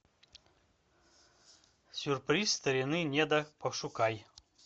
сюрприз старины неда пошукай